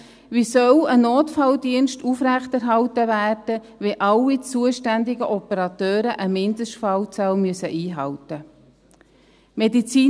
Wie soll ein Notfalldienst aufrechterhalten werden, wenn alle zuständigen Operateure eine Mindestfallzahl einhalten müssen?